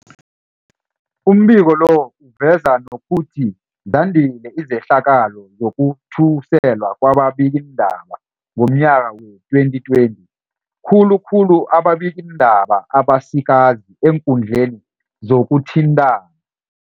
Umbiko lo uveza nokuthi zandile izehlakalo zokuthuselwa kwababikiindaba ngomnyaka wee-2020, khulu khulu ababikiindaba abasikazi eekundleni zokuthintana.